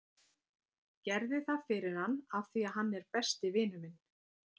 Gerði það fyrir hann af því að hann er besti vinur minn.